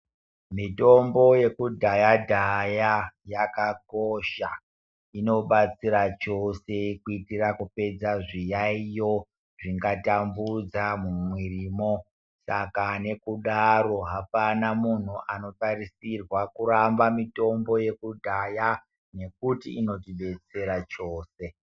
Mitombo yekudhaya dhaya yakakosha inobatsira chose kuitira kupedza zviyaiyo zvingatambudza mumwirimwo saka nekudaro hapana munhu anotarisirwa kuramba mitombo yekudhaya nekuti inotibetsera chose.